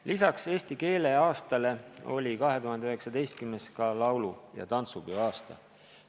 Lisaks eesti keele aastale oli 2019. ka laulupeoaasta.